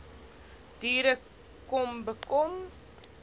diere kom bekom